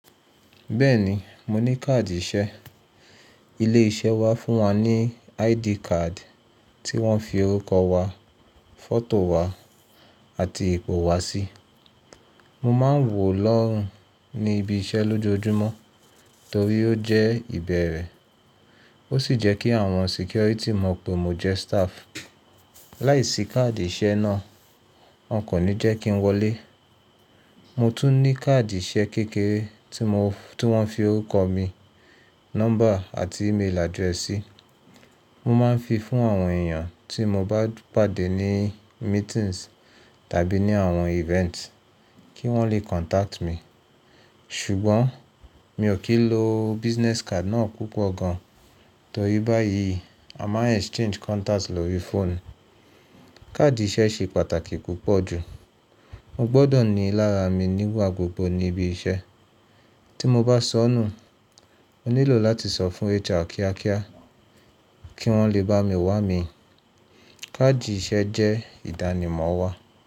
Bẹ́ẹ̀ ni, mo ní káàdì iṣẹ́. Ilé-iṣẹ́ wa fún wa ní ID card tí wọ́n fi orúkọ wa, fọ́tò wa àti ipò wa sí. Mo máa ń wò ó lọ́rùn ní ibi iṣẹ́ lójoojúmọ́ torí ó jẹ́ ìbẹ̀rẹ̀. Ó sì jẹ́ kí àwọn security mọ̀ pé mo jẹ́ staff. Láìsí káàdì iṣẹ́ náà, wọn kò ní jẹ́ kí n wọlé. Mo tún ní káàdì iṣẹ́ kékeré tí wọ́n fi orúkọ mi, nọ́mbà àti email address sí. Mo máa ń fi fún àwọn èèyàn tí mo bá pàdé ní meetings tàbí ní àwọn events kí wọ́n lè contact mi. Ṣùgbọ́n mi ò kí ń lo business card náà púpọ̀ gan torí báyìí a máa ń exchange contact lórí fóònù. Káàdì iṣẹ́ ṣe pàtàkì púpọ̀ jù. Mo gbọ́dọ̀ ní i lára mi nígbà gbogbo ní ibi iṣẹ́. Tí mo bá sọnù, mo nílò láti sọ fún HR kíákíá kí wọ́n lè bá mi wà mí. Káàdì iṣẹ́ jẹ́ ìdánimọ̀ wa.